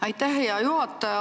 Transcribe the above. Aitäh, hea juhataja!